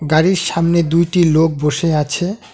গাড়ির সামনে দুইটি লোক বসে আছে।